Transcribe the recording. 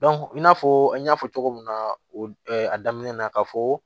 i n'a fɔ an y'a fɔ cogo min na o a daminɛ na ka fɔ